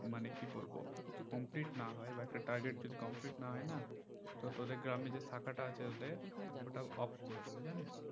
মানে কি বলবো complete না হয় বা একটা target যদি complete না হয় না তো তোদের গ্রামে যে শাখা তা আছে তোদের ওটা off করে দেবে জানিস